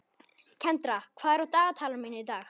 Kendra, hvað er á dagatalinu mínu í dag?